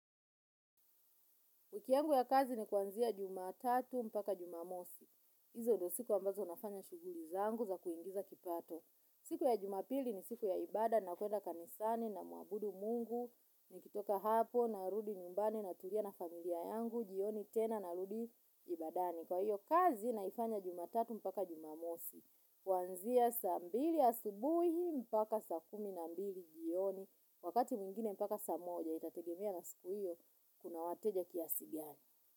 Wiki yangu ya kazi ni kuanzia jumatatu mpaka jumamosi. Izo ndo siku ambazo nafanya shughuli zangu za kuingiza kipato. Siku ya jumapili ni siku ya ibada na kuenda kanisani namuabudu mungu. Nikitoka hapo narudi nyumbani natulia na familia yangu jioni tena narudi ibadani. Kwa hiyo kazi naifanya jumatatu mpaka jumamosi. Kuanzia saa mbili asubuhi mpaka saa kumi na mbili jioni. Wakati mwingine mpaka saa moja itategemea na siku hiyo kuna wateja kiasi gani.